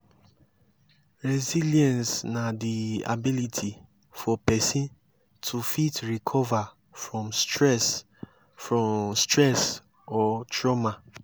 resilience na di ability for person to fit recover from stress from stress or trauma